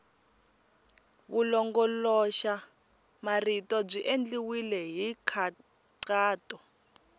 vulongoloxamarito byi endliwile hi nkhaqato